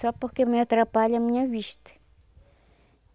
Só porque me atrapalha a minha vista.